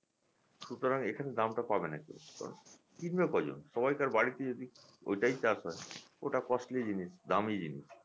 সুতরাং এখানে দামটা পাবেনা কেও কিন্তু সেরকম কিনবে কজন সবাইকার বাড়িতে যদি ঐটাই চাষবাস হয় ওটা costly জিনিস দামি জিনিস